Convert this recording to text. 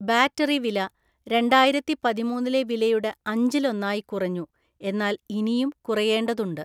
Battery വില രണ്ടായിരത്തി പതിമൂന്നിലെ വിലയുടെ അഞ്ചിലൊന്നായി കുറഞ്ഞു, എന്നാൽ ഇനിയും കുറയേണ്ടതുണ്ട്.